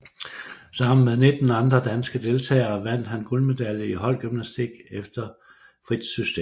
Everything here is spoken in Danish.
Sammen med 19 andre danske deltagere vandt han guldmedalje i holdgymnastik efter frit system